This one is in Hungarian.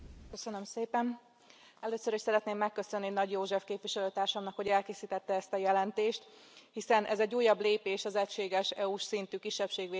Először is szeretném megköszönni Nagy József képviselőtársamnak, hogy elkészítette ezt a jelentést, hiszen ez egy újabb lépés az egységes EU s szintű kisebbségvédelem megalkotásához.